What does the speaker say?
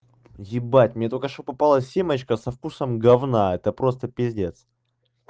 ебать мне только что попала семечка со вкусом гомна это просто пиздец